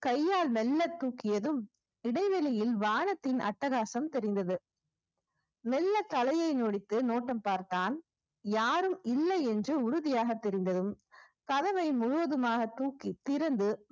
கையால் மெல்ல தூக்கியதும் இடைவெளியில் வானத்தின் அட்டகாசம் தெரிந்தது மெல்ல தலையை நொடித்து நோட்டம் பார்த்தான் யாரும் இல்லை என்று உறுதியாக தெரிந்ததும் கதவை முழுவதுமாக தூக்கி திறந்து